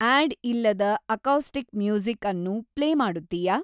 add ಇಲ್ಲದ acoustic music ಅನ್ನು play ಮಾಡುತ್ತೀಯಾ